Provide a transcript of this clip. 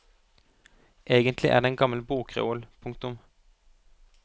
Egentlig er det en gammel bokreol. punktum